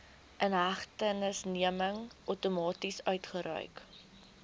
inhegtenisneming outomaties uitgereik